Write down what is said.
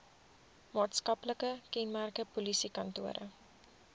maatskaplike kenmerke polisiekantore